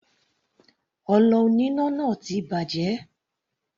Ọlọ oníná náà ti bàjẹ́.